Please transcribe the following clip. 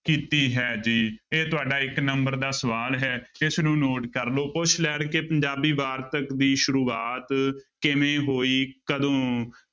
ਕੀਤੀ ਹੈ ਜੀ ਇਹ ਤੁਹਾਡਾ ਇੱਕ number ਦਾ ਸਵਾਲ ਹੈ, ਇਸਨੂੰ note ਕਰ ਲਓ ਪੁੱਛ ਲੈਣ ਕਿ ਪੰਜਾਬੀ ਵਾਰਤਕ ਦੀ ਸ਼ੁਰੂਆਤ ਕਿਵੇਂ ਹੋਈ ਕਦੋਂ,